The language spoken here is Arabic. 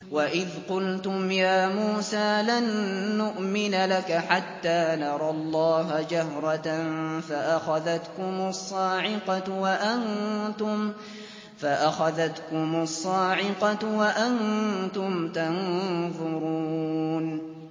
وَإِذْ قُلْتُمْ يَا مُوسَىٰ لَن نُّؤْمِنَ لَكَ حَتَّىٰ نَرَى اللَّهَ جَهْرَةً فَأَخَذَتْكُمُ الصَّاعِقَةُ وَأَنتُمْ تَنظُرُونَ